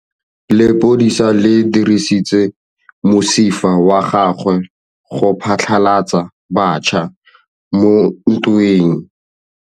Lepodisa le dirisitse mosifa wa gagwe go phatlalatsa batšha mo ntweng.